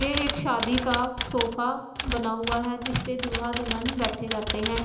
ये एक शादी का सोफा बना हुआ है जिस पे दूल्हा दुल्हन बैठे जाते हैं।